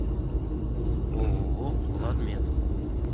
ооо владмед